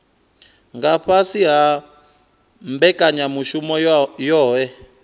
nga fhasi ha mbekanyamushumo yohe